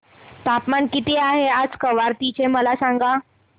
तापमान किती आहे आज कवारत्ती चे मला सांगा